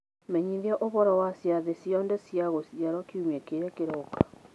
menyithia ũhoro wa ciathĩ ciothe cia gũciarwo kiumia kĩrĩa kĩroka